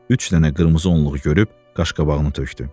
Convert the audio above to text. Üç dənə qırmızı onluğu görüb qaşqabağını tökdü.